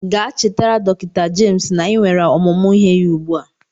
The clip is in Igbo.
Gaa chetara dọktọ Jemis na anyị nwere ọmụmụ ihe ya ugbu a!